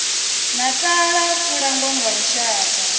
natala ku langwa nga lushaka